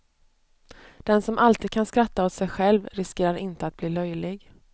Den som alltid kan skratta åt sig själv riskerar inte att bli löjlig.